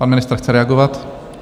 Pan ministr chce reagovat?